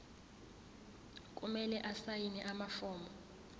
kumele asayine amafomu